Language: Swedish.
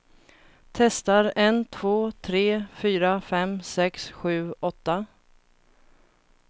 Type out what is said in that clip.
Testar en två tre fyra fem sex sju åtta.